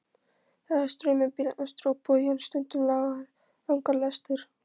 Það er straumur bíla austur á bóginn, stundum langar lestir.